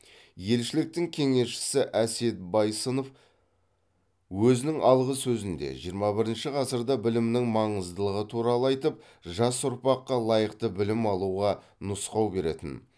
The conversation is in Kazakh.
елшіліктің кеңесшісі әсет байсынов өзінің алғы сөзінде жиырма бірінші ғасырда білімнің маңыздылығы туралы айтып жас ұрпаққа лайықты білім алуға нұсқау беретін